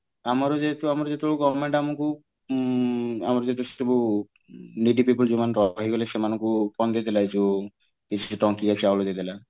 ଆମର ଯେହେତୁ ଆମର ଯେହେତୁ government ଆମକୁ ଆମର ଯେହେତୁ ସେ ସବୁ needy people ଯୋଉମାନେ ରହିଗଲେ ସେମାନଙ୍କୁ କଣ ଦେଇଦେଲା ଏଇ ଯୋଉ କିଛି ଟଙ୍କିକିଆ ଚାଉଳ ଦେଇଦେଲା